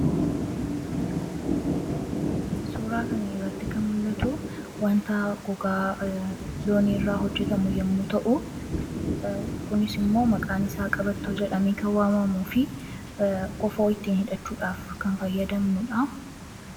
Suuraa kana irratti kan mul'atu wanta gogaa looni irraa hojjetamu yommuu ta'u kunis immoo maqaan isaa qabattoo jedhamee kan waamamu fi kofoo ittiin hidhachuudhaaf kan fayyadamnudha.